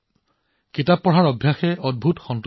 কিতাপ পঢ়াৰ চখটোৱে এক আশ্চৰ্যজনক সন্তুষ্টি প্ৰদান কৰে